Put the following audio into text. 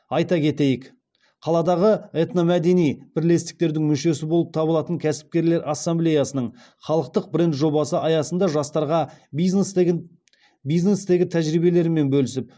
айта кетейік қаладағы этномәдени бірлестіктердің мүшесі болып табылатын кәсіпкерлер ассамблеяның халықтық бренд жобасы аясында жастарға бизнестегі тәжірибелерімен бөлісіп